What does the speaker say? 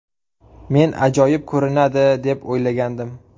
Men ajoyib ko‘rinadi, deb o‘ylagandim”.